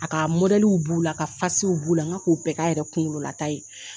A ka b'u la ka b'u la n k'a k'o bɛɛ kɛ a yɛrɛ kunkololata ye